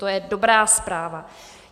To je dobrá zpráva.